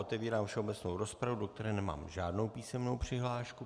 Otevírám všeobecnou rozpravu, do které nemám žádnou písemnou přihlášku.